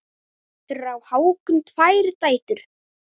Fyrir á Hákon tvær dætur.